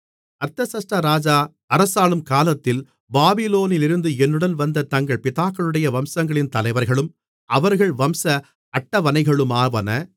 அர்தசஷ்டா ராஜா அரசாளும் காலத்தில் பாபிலோனிலிருந்து என்னுடன் வந்த தங்கள் பிதாக்களுடைய வம்சங்களின் தலைவர்களும் அவர்கள் வம்ச அட்டவணைகளுமாவன